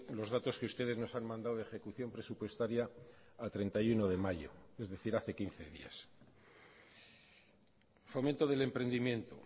los datos que ustedes nos han mandado de ejecución presupuestaria a treinta y uno de mayo es decir hace quince días fomento del emprendimiento